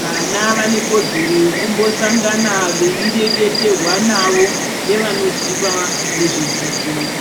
Vana vane kodzero yekumbo sangana vei reketerwa navo nevanoziva nezve dzidzo.